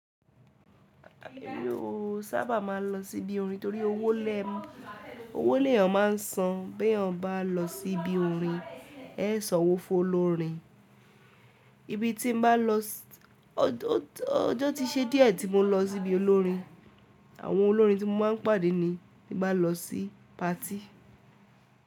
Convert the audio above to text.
Èmi o sábà máa ń lọ síbi orin torí owó lè, owó lè yan máa ń san bí èèyàn bá lọ sí ibi orin, ẹ sọ wò fún olórin. Ibi tí mo bá lọ, ọjọ́ tí ṣe díẹ̀ tí mo lọ sí ibi olórin, àwọn olórin tí mo máa ń pàdé ni tí bá lọ sí patí.